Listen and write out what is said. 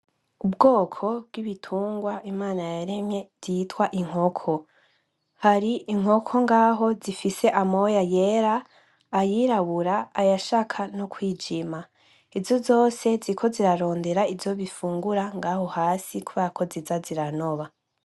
Ubwoko bw'ibitungwa Imana yaremye vyitwa inkoko hari inkoko ngaho zifise amoya yera ,ayirabura ,ayashaka no kwijima izo zose ziriko ziraronde ivyo zifungura ngaho hasi kuberako ziza ziranoba.